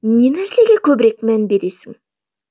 не нәрсеге көбірек мән бересің